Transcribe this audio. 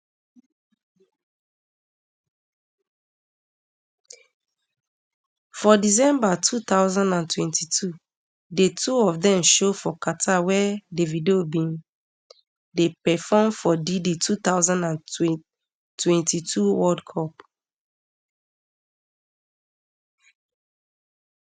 for december two thousand and twenty-two di two of dem show for qatar wia davido bin dey perform for di di two thousand and twenty-two world cup